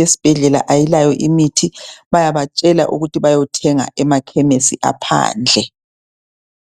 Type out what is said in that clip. yesibhedlela ayilayo imithi bayabatshela ukuthi bayothenga emakhemesi aphandle.